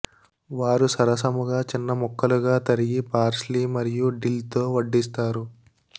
వారు సరసముగా చిన్న ముక్కలుగా తరిగి పార్స్లీ మరియు డిల్ తో వడ్డిస్తారు